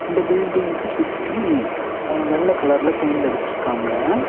இந்த பில்டிங்க்கு சுத்தி அ வெள்ள கலர்ல பெயிண்ட் அடிச்சுருக்காங்க.